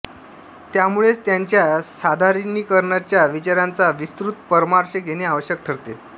त्यामुळेच त्याच्या साधारणीकरणाच्या विचारांचा विस्तृत परामर्श घेणे आवश्यक ठरते